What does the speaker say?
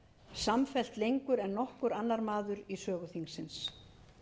samfellt lengur en nokkur annar maður í sögu þingsins